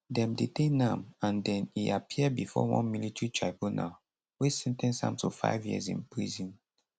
dem detain am and den e appear bifor one military tribunal wey sen ten ce am to five years in prison